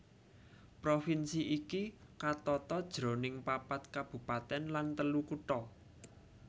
Provinsi iki katata jroning papat kabupatèn lan telu kutha